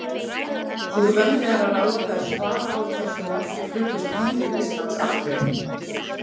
Úr vöndu er að ráða þegar svara á hversu margir fluttust heim til Íslands aftur.